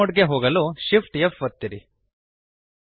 fly mode ನಲ್ಲಿ ಹೋಗಲು Shift F ಒತ್ತಿರಿ